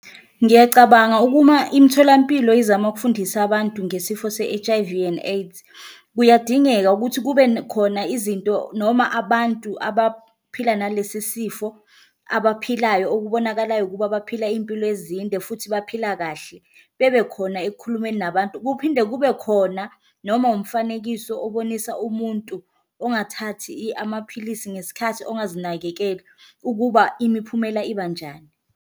Ngiyacabanga ukuma imitholampilo izama ukufundisa abantu ngesifo se-H_I_V and AIDS, kuyadingeka ukuthi kube khona izinto noma abantu abaphila nalesi sifo abaphilayo okubonakalayo ukuba baphila iyimpilo ezinde futhi baphila kahle, bebe khona ekukhulumeni nabantu. Kuphinde kube khona noma umfanekiso obonisa umuntu ongathathi amaphilisi ngesikhathi ongazinakekeli ukuba imiphumela ibanjani.